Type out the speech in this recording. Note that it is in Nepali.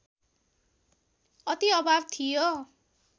अति अभाव थियो